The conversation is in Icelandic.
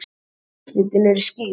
En úrslitin eru skýr.